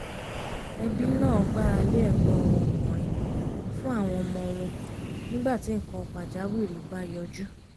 ẹbí náà gbára lé ẹ̀gbọ́n wọn ọkùnrin fún àwọn ọmọ wọn nígbà tí nǹkan pàjáwìrì bá yọjú